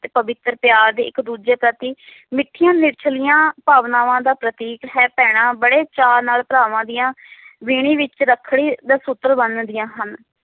ਦੇ ਪਵਿੱਤਰ ਪਿਆਰ ਇਕ ਦੂਜੇ ਪ੍ਰਤੀ ਮਿਠੀਆਂ ਨਿਚੱਲੀਆਂ ਭਾਵਨਾਵਾਂ ਦਾ ਪ੍ਰਤੀਕ ਹੈ ਭੈਣਾਂ ਬੜੇ ਚਾਅ ਨਾਲ ਭਰਾਵਾਂ ਦੀਆਂ ਵੀਣੀ ਵਿਚ ਰੱਖੜੀ ਦਾ ਸੂਤਰ ਬਣਦੀਆਂ ਹਨ